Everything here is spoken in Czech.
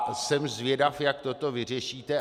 A jsem zvědav, jak toto vyřešíte.